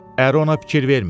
Əri ona fikir vermir.